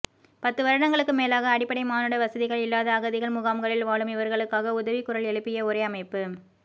பத்துவருடங்களுக்கு மேலாக அடிப்படை மானுட வசதிகள் இல்லாத அகதிகள் முகாம்களில் வாழும் இவர்களுக்காக உதவி குரல் எழுப்பிய ஒரே அமைப்பு